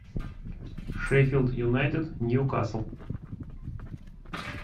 шеффилд юнайтед ньюкасл